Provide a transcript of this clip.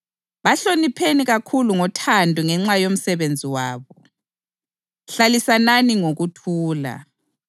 Njalo siyalincenga bazalwane, baxwayiseni labo abangamavila, likhuthaze abadele inhliziyo, lisize ababuthakathaka njalo libekezelele umuntu wonke.